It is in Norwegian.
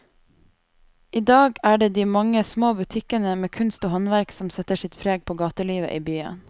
I dag er det de mange små butikkene med kunst og håndverk som setter sitt preg på gatelivet i byen.